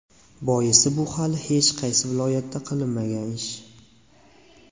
Boisi bu hali hech qaysi viloyatda qilinmagan ish.